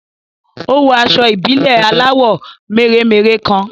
Ó wọ aṣọ ìbílẹ̀ aláwọ̀ mèremère kan